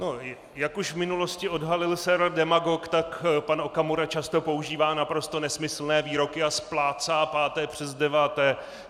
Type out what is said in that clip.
Jak už v minulosti odhalil server Demagog, tak pan Okamura často používá naprosto nesmyslné výroky a splácá páté přes deváté.